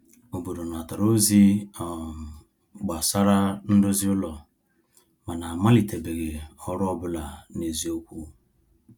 Obodo natara ozi um gbasara ndozi ụlọ, mana a malitebeghị ọrụ ọ bụla n’eziokwu. um